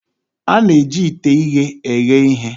A na-eji ite ighe eghe ihe.